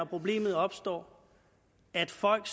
problem opstår at folk